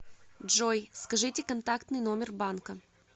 джой скажите контактный номер банка